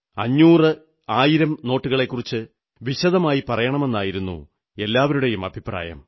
500 1000 നോട്ടുകളെക്കുറിച്ച് വിശദമായി പറയണമെന്നായിരുന്നു എല്ലാവരുടെയും അഭിപ്രായം